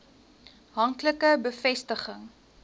hank like bevestiging